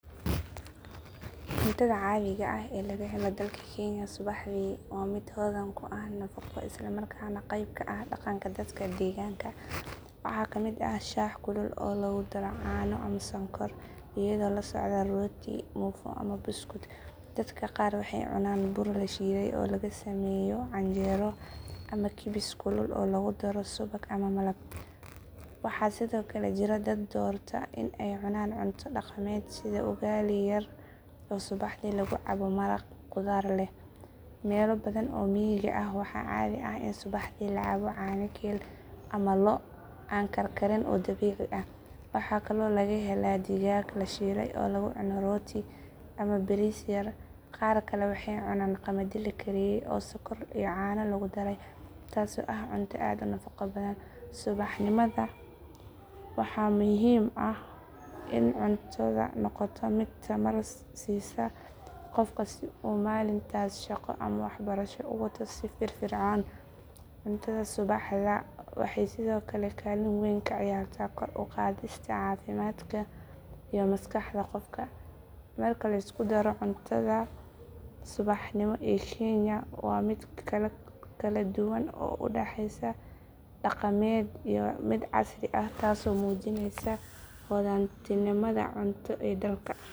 Cuntada caadiga ah ee laga helo dalka kenya subaxdii waa mid hodan ku ah nafaqo isla markaana qayb ka ah dhaqanka dadka deegaanka. Waxaa ka mid ah shaah kulul oo lagu daro caano ama sonkor iyadoo la socda rooti, muufo ama buskud. Dadka qaar waxay cunaan bur la shiiday oo laga sameeyo canjeero ama kibis kulul oo lagu daro subag ama malab. Waxaa sidoo kale jira dad doorta in ay cunaan cunto dhaqameed sida ugali yar oo subaxdii lagu cabo maraq khudaar leh. Meelo badan oo miyiga ah waxaa caadi ah in subaxdii la cabo caano geel ama lo’ oo aan karkarin oo dabiici ah. Waxaa kaloo laga helaa digaag la shiilay oo lagu cuno rooti ama bariis yar. Qaar kale waxay cunaan qamadi la kariyay oo sonkor iyo caano lagu daray taasoo ah cunto aad u nafaqo badan. Subaxnimada waxaa muhiim ah in cuntadu noqoto mid tamar siisa qofka si uu maalintaas shaqo ama waxbarasho u wato si firfircoon. Cuntada subaxda waxay sidoo kale kaalin weyn ka ciyaartaa kor u qaadista caafimaadka iyo maskaxda qofka. Marka la isku daro, cuntada subaxnimo ee kenya waa mid kala duwan oo u dhaxaysa dhaqameed iyo mid casri ah taasoo muujinaysa hodantinimada cunto ee dalka.